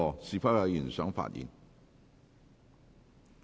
是否有議員想發言？